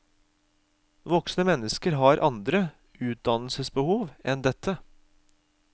Voksne mennesker har andre utdannelsesbehov enn dette.